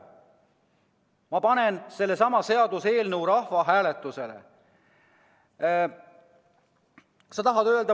Ma panen sellesama seaduseelnõu rahvahääletusele.